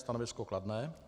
Stanovisko kladné.